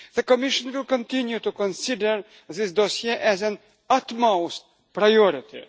The Commission will continue to consider this dossier as an utmost priority.